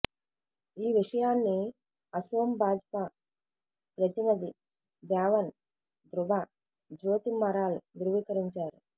ఈ విషయాన్ని అసోం భాజపా ప్రతినధి దేవన్ ధ్రుబ జ్యోతి మరాల్ ధ్రువీకరించారు